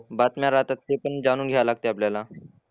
बातम्या राहतात ते पण जाणून घ्यायला लागते आपल्याला.